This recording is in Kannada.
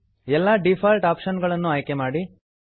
ಎಲ್ಲಾ ಡೀಫಾಲ್ಟ್ ಆಪ್ಶನ್ ಗಳನ್ನು ಆಯ್ಕೆ ಮಾಡಿ